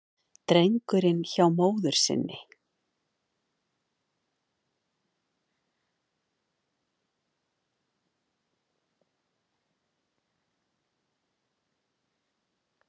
Drengurinn hjá móður sinni